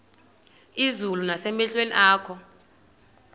izulu nasemehlweni akho